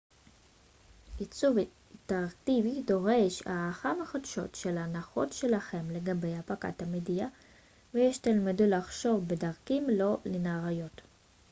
עיצוב אינטראקטיבי דורש הערכה מחודשת של ההנחות שלכם לגבי הפקת מדיה ושתלמדו לחשוב בדרכים לא ליניאריות